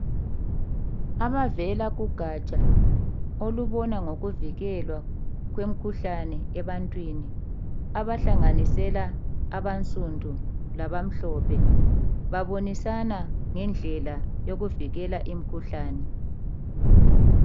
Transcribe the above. Abavela kugaja olubona ngokuvikelwa kwemikhuhlane ebantwini. Abahlanganisela abansundu labamhlophe .Babonisana ngendlela yokuvikela imikhuhlane.